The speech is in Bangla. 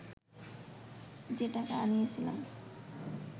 যে টাকা আনিয়াছিলাম